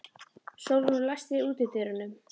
Sólrún, læstu útidyrunum.